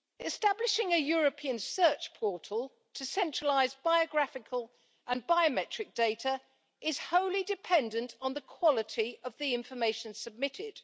Establishing a European search portal to centralise biographical and biometric data is wholly dependent on the quality of the information submitted.